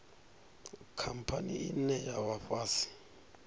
khamphani ine ya vha fhasi